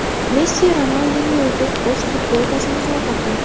Messi Ronaldinyoga o‘z futbolkasini sovg‘a qildi.